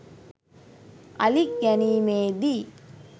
අලි ගැනීමේ දී